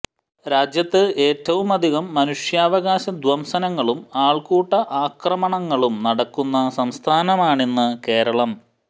രാജ്യത്ത് ഏറ്റവുമധികം മനുഷ്യാവകാശ ധ്വംസനങ്ങളും ആള്ക്കൂട്ട ആക്രമണങ്ങളും നടക്കുന്ന സംസ്ഥാനമാണിന്ന് കേരളം